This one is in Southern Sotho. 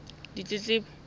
ditletlebo